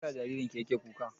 Me ya sa jaririn ki ya ke murmushi?